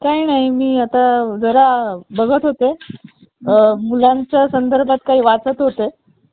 laptop वापरू शकतो. खासकरून प्रवास दरम्यान हे जास्त उपयोगी पडत बर का? साधारणपणे एका लॅपटॉपची बॅटरी तीन तास चालत असते. लॅपटॉपचा आकार घेऊ आपण